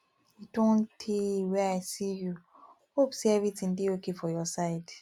e don tey wey i see you hope say everything dey okay for your side